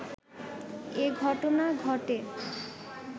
এ ঘটনা ঘটে